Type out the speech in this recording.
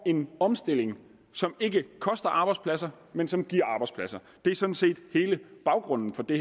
en omstilling som ikke koster arbejdspladser men som giver arbejdspladser det er sådan set hele baggrunden for det